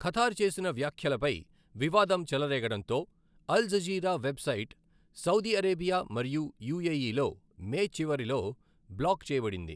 Qatar చేసిన వ్యాఖ్యలపై వివాదం చెలరేగడంతో, Al Jazeera website Saudi Arabia మరియు యుఎఇలో మే చివరిలో బ్లాక్ చేయబడింది.